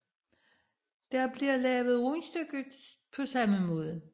Der bliver lavet rundstykker på samme måde